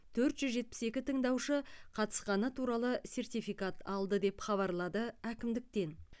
төрт жүз жетпіс екі тыңдаушы қатысқаны туралы сертификат алды деп хабарлады әкімдіктен